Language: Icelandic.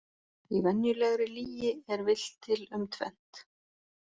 Í venjulegri lygi er villt til um tvennt.